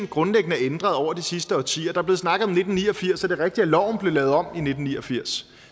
grundlæggende er ændret over de sidste årtier der er blevet snakket om nitten ni og firs og det er rigtigt at loven blev lavet om i nitten ni og firs